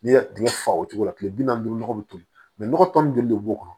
N'i y'a tigɛ fa o cogo la kile bi naani ni duuru nɔgɔ be toli nɔgɔ tɔ min joli de b'o kɔnɔ